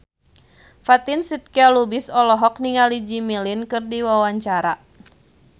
Fatin Shidqia Lubis olohok ningali Jimmy Lin keur diwawancara